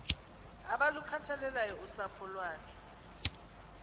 abalukhathaleleyo usapho iwakhe